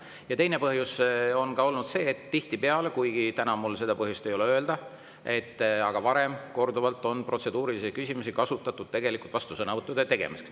Ja teine põhjus on ka olnud see, et tihtipeale – täna mul küll pole põhjust seda öelda – on protseduurilisi küsimusi kasutatud tegelikult vastusõnavõttude tegemiseks.